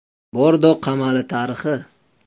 Bordo qamali tarixi.